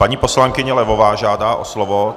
Paní poslankyně Levová žádá o slovo.